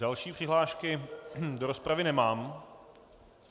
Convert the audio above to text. Další přihlášky do rozpravy nemám.